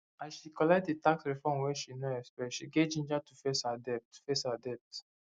as she collect the tax refund wey she no expect she get ginger to face her debt face her debt